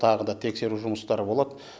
тағы да тексеру жұмыстары болады